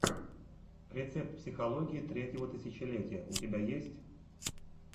рецепт психологии третьего тысячелетия у тебя есть